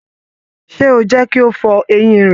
Ṣe o jẹ kí o fọ eyin rẹ!